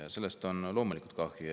Ja sellest on loomulikult kahju.